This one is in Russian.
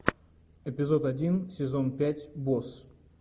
эпизод один сезон пять босс